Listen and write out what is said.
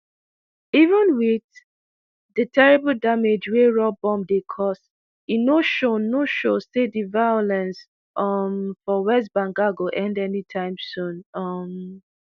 even wit di terrible damage wey raw bomb dey cause e no show no show say di violence um for west bengal go end anytime soon um